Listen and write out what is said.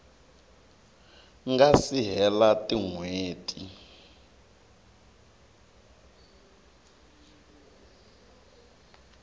nga si hela tin hweti